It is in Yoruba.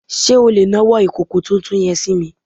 Sé o lè nawọ́ ìkòkò tuntun yen sími